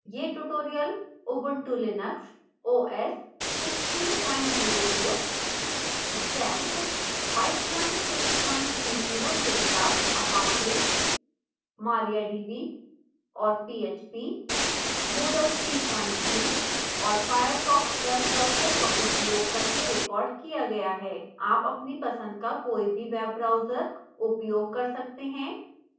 यह tutorial